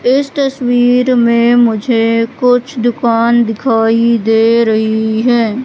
इस तस्वीर में मुझे कुछ दुकान दिखाई दे रही है।